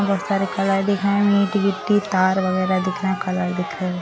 बहुत सारे दिख रहे मिट गिट्टी तार वगैरा दिख रहे दिख रहे।